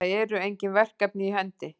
Það eru engin verkefni í hendi